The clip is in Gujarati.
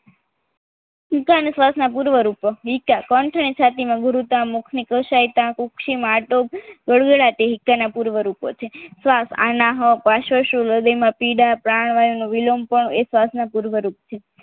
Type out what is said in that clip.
વિકાસ અને શ્વાસના પૂર્વ રૂપો વિકાન કંઠ અને છાતીમાં ગુરુતા મુખની કસાયતા ઉષ્મા આટો ગળો ના તીવ્ર રૂપો છે શ્વાસ આના પાર્શ્વ હૃદયમાં પીડા પ્રાણ વાયુનો વિલંબ એ શ્વાસના પૂર્વ રૂપો છે